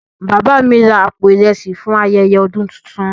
Baba mi ra àpò ìrẹsì fún ayẹyẹ ọdún tuntun.